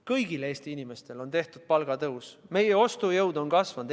Kõigile Eesti inimestele on tehtud palgatõus, meie ostujõud on kasvanud.